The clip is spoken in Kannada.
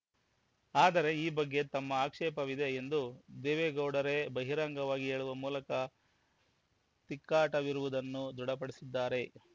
ಆದರೆ ಈ ಬಗ್ಗೆ ತಮ್ಮ ಆಕ್ಷೇಪವಿದೆ ಎಂದು ದೇವೇಗೌಡರೇ ಬಹಿರಂಗವಾಗಿ ಹೇಳುವ ಮೂಲಕ ತಿಕ್ಕಾಟವಿರುವುದನ್ನು ದೃಢಪಡಿಸಿದ್ದಾರೆ